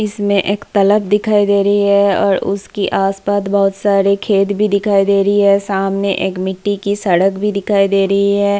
इसमें एक तालाब दिखाई दे रही है और उसकी आस-पास बहुत सारे खेत भी दिखाई दे रही है सामने एक मिट्टी की सड़क भी दिखाई दे रही है।